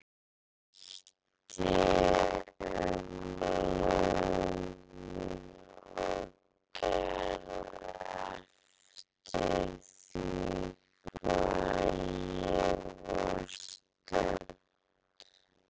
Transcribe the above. Ég breytti um lögun og gerð eftir því hvar ég var stödd.